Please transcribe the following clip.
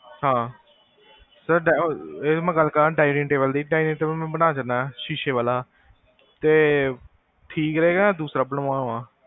ਹਾਂ sir ਇਹ ਮੈਂ ਗਲ ਕਰਨ dining table ਦੀ, ਚਾਹੇ ਮੈਂ ਬਣਾ ਕੇ ਦੇਵਾਂ ਸ਼ੀਸ਼ੇ ਵਾਲਾ, ਤੇ ਠੀਕ ਰਹੇਗਾ ਕ ਦੂਸਰਾ ਬੰਵਾਵਾਂ?